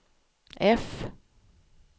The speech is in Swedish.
F